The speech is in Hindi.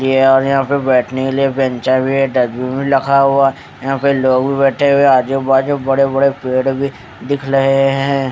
यहाँ बेठनेकेलिए बेंचा भी है डस्टबिन भी रखा हुआ है यहाँ पर लोग बैठे हुए है आजुबाजु बड़े बड़े पेड़ भी दिख रहे है।